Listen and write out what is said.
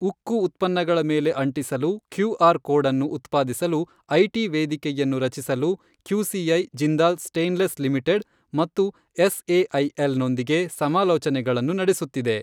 ಉಕ್ಕು ಉತ್ಪನ್ನಗಳ ಮೇಲೆ ಅಂಟಿಸಲು ಕ್ಯೂಆರ್ ಕೋಡ್ ಅನ್ನು ಉತ್ಪಾದಿಸಲು ಐಟಿ ವೇದಿಕೆಯನ್ನು ರಚಿಸಲು ಕ್ಯೂಸಿಐ ಜಿಂದಾಲ್ ಸ್ಟೈನ್ಲೆಸ್ ಲಿಮಿಟೆಡ್ ಮತ್ತು ಎಸ್ಎಐಎಲ್ ನೊಂದಿಗೆ ಸಮಾಲೋಚನೆಗಳನ್ನು ನಡೆಸುತ್ತಿದೆ.